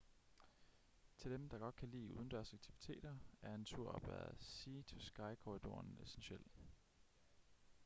til dem der godt kan lide udendørsaktiviteter er en tur op ad sea to sky-korridoren essentiel